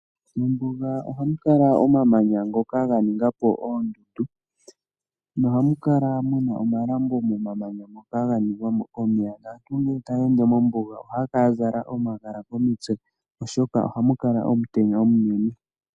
Mombuga ohamu kala omamanya ngoka ga ninga po oondundu, noha mu kala muna omalambo momamanya moka ga ningwa mo komeya. Aantu ngele taya ende mombuga ohaya kala ya zala omagala komitse oshoka ohamu kala omutenya omunene.